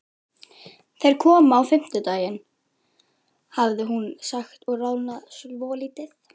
Þeir koma á fimmtudaginn, hafði hún sagt og roðnað svolítið.